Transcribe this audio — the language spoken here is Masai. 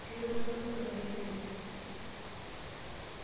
Keirowuaju enkolong' taisere.